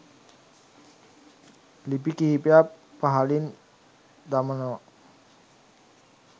ලිපි කීපයක් පහළින් දමනව.